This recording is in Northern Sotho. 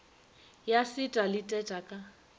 ya seta le teta ka